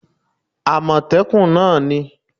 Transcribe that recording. amotekun náà ni